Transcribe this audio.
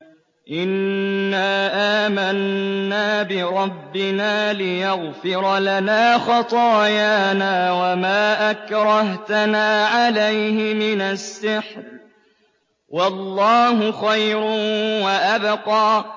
إِنَّا آمَنَّا بِرَبِّنَا لِيَغْفِرَ لَنَا خَطَايَانَا وَمَا أَكْرَهْتَنَا عَلَيْهِ مِنَ السِّحْرِ ۗ وَاللَّهُ خَيْرٌ وَأَبْقَىٰ